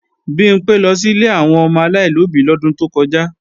Bimpé lọ sí ilé àwọn ọmọ aláìlóbí lọ́dún tó kọjá